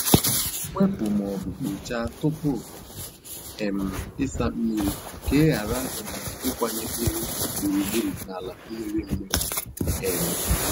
Wepu ma ọ bụ kpochaa tupu um ịsa mmiri ka ị ghara um ịkwanye unyi gburugburu n'ala mmiri mmiri. um